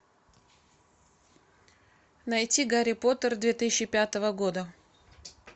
найти гарри поттер две тысячи пятого года